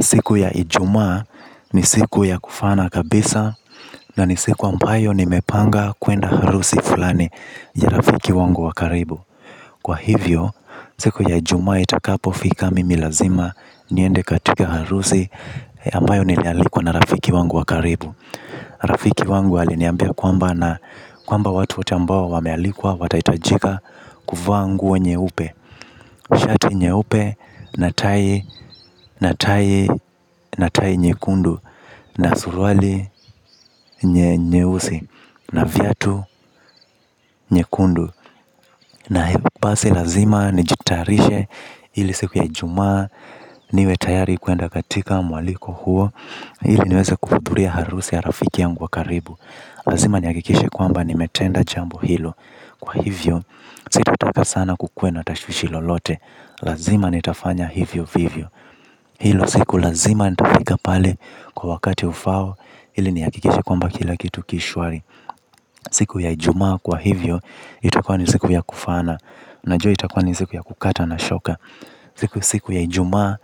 Siku ya ijumaa ni siku ya kufaana kabisa na ni siku ambayo nimepanga kwenda harusi fulani ya rafiki wangu wa karibu. Kwa hivyo, siku ya Ijumaa itakapofika mimi lazima niende katika harusi ambayo nimealikwa na rafiki wangu wa karibu. Rafiki wangu aliniambia kwamba watu wote ambao wamealikwa watahitajika kuvaa nguo nyeupe. Shati nyeupe, natai, natai, natai nyekundu. Na suruali nyeusi, na viatu vyekundu na basi lazima nijitayarishe ili siku ya ijuma niwe tayari kwenda katika mwaliko huo ili niweze kuhudhuria harusi ya rafiki yangu wa karibu. Lazima nihakikishe kwamba nimetenda jambo hilo kwa hivyo, sitataka sana kukua na tashwishi lolote lazima nitafanya hivyo vivyo. Hiyo siku lazima nitafika pale kwa wakati ufaao ili nihakikishe kila kitu kiko shwari. Siku ya Ijumaa kwa hivyo itakuwa ni siku ya kufana najua itakuwa ni siku ya kukata na shoka. Siku siku ya Ijumaa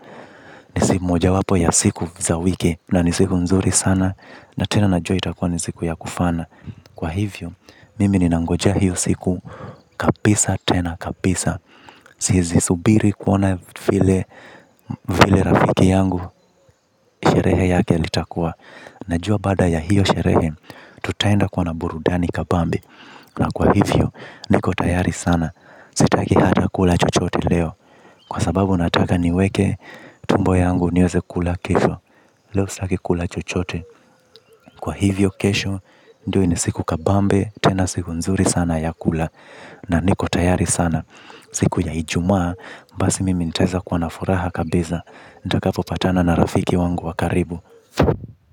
ni mojawapo ya siku za wiki na ni siku nzuri sana na tena najua itakuwa ni siku ya kufaana kwa hivyo mimi ninangoja hiyo siku kabisa tena kabisa. Siwezi subiri kuona vile rafiki yangu sherehe yake itakuwa najua baada ya hiyo sherehe tutaenda kuona burudani kabambe. Na kwa hivyo niko tayari sana. Sitaki hata kula chochote leo kwa sababu nataka niweke tumbo yangu niweze kula kesho. Leo sitaki kula chochote kwa hivyo kesho ndio ni siku kabambe tena siku nzuri sana ya kula. Na niko tayari sana. Siku ya Ijumaa, basi mimi nitaweza kuwa na furaha kabisa nitakapopatana na rafiki wangu wakaribu.